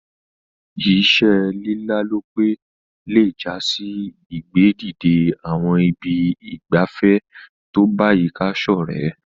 Ìse lílálòpẹ́ le jasí ìgbé dìde àwon ibi ìgbafé to bayika sorẹ́